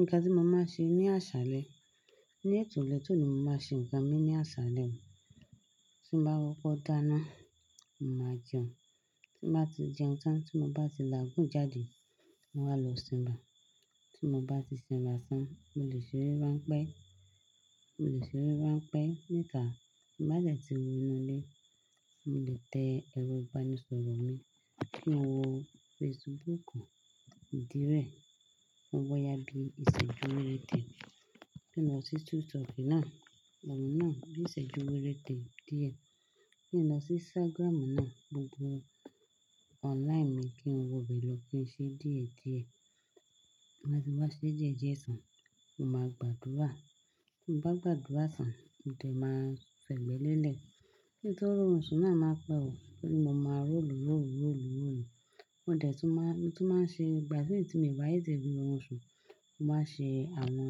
Nǹkan tí mo máa ṣe ní àṣálẹ́, ní ètò ìlétò ni mo máa ṣe ǹkan mi ní àṣálẹ́. Tí mo bá kọkọ dáná, mo máa jẹun. Tí mo bá ti jẹun tán, tí mo bá ti làgún jáde, mo máa lọ sin ra. Tí mo bá ti sinra tán, mo lè ṣeré ránpẹ́, mo lè ṣeré ránpẹ́ níta. Bá dẹ̀ tí mo wí inú ilé, mo lè tẹ ẹ̀rọ-ìbánisọ̀rọ̀ mi kí n wo Facebookù, ìdí rẹ̀, mo wọ̀ ó yá bí iṣẹ́ dúwẹ́rẹ́tè. Kí n lọ sí TikToki náà, ọ̀ n náà, bi iṣẹ́jú wérété díẹ̀. Kí n lọ sí Instagram náà, gbogbo online mi kí n wo ibẹ̀ lọ kí ṣe díẹ̀ díẹ̀. Tí n bá ti wá ṣe díẹ̀ díẹ̀ tán, mo máa gbàdúrà. Tí mo bá gbàdúrà tán, mo dẹ̀ máa fẹ̀gbẹ́ lélẹ̀. Kí n tó ro run sun náà máa pẹ́, ó ni mo máa ró lu ró lu ró lu ró lu. Mo dẹ̀ tún máa, tún máa ṣe igba mi tí mi n bá té tẹ̀ ro run sun, mo máa ṣe àwọn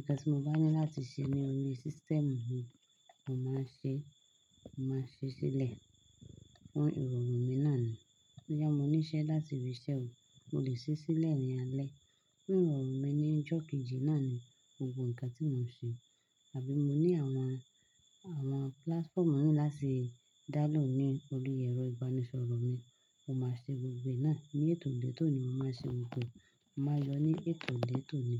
ǹkan tí mo bá ní láti ṣe ní orí system mi, mo máa ṣe, mo máa ṣe sílẹ̀ fún ìrọ̀rùn mi náà ni. Bo yá mo níṣẹ́ láti ibi íṣẹ́ o, mo lè ṣe é sílẹ̀ ní alẹ́. Fun ìrọ̀rùn mi ní ijọ́ keji náà ni gbogbo ǹkan tí mo ń ṣe. Àbí mo ní àwọn, àwọn platformu láti dá lóhùn ni orí ẹ̀rọ ìbánisọ̀rọ̀ mi, mo máa ṣe gbogbo náà. Ní ètò létò ni mo máa ṣe ohun tó, mo máa yọ ní ètò létò ni.